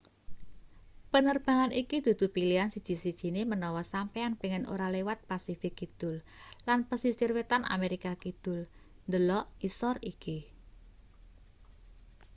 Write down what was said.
penerbangan iki dudu pilihan siji-sijine menawa sampeyan pengin ora liwat pasifik kidul lan pesisir wetan amerika kidul. delok ngisor iki